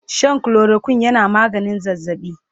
Shan chloroquine yana maganin zazzabi